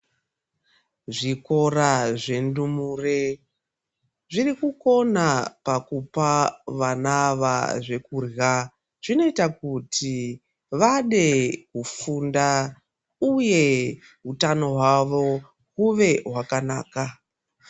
Zvikora zvendumure zvirikukona pakupa vana ava zvekurya . Zvinoita kuti vade kufunda uye hutano hwavo uve hwakanaka.